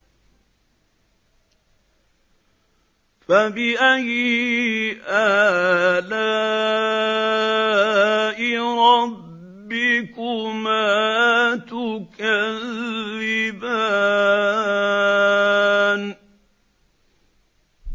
فَبِأَيِّ آلَاءِ رَبِّكُمَا تُكَذِّبَانِ